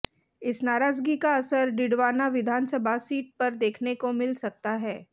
इस नाराज़गी का असर डिडवाना विधानसभा सीट पर देखने को मिल सकता है